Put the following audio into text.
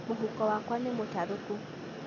Mũhuko wakwa mútarúkú